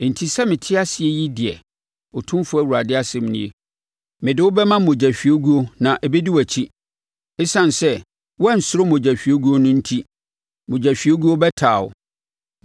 enti, sɛ mete ase yi deɛ, Otumfoɔ Awurade asɛm nie, mede wo bɛma mogyahwieguo na ɛbɛdi wʼakyi. Esiane sɛ woansuro mogyahwieguo no enti, mogyahwiegu bɛtaa wo.